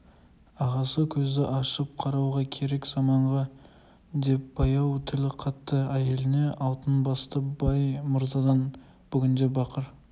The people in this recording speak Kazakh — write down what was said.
ағасы көзді ашып қарауға керек заманға деп баяу тіл қатты әйеліне алтын басты бай-мырзадан бүгінде бақыр